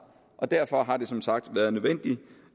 og derfor har det som sagt været nødvendigt